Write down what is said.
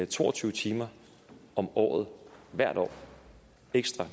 to og tyve timer om året hvert år ekstra